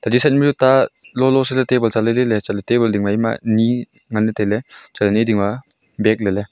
chi side ma chu ta lolo se li tabon la lai lai ley tabon ding ma ni ngan leyv tailey chatley ni ding ma bage .